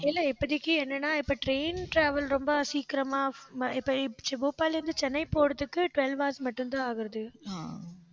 இல்ல, இப்போதைக்கு என்னன்னா இப்ப train travel ரொம்ப சீக்கிரமா, இப்ப போபால்ல இருந்து, சென்னை போறதுக்கு twelve hours மட்டும்தான் ஆகுறது